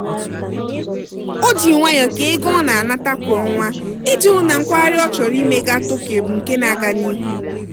o ji nwayọọ kee ego ọ na-anata kwa ọnwa iji hụụ na nkwagharị ọ chọrọ ime gaa tokyo bụ nke na-aga n'ihu.